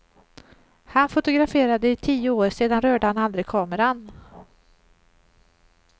Han fotograferade i tio år, sedan rörde han aldrig kameran.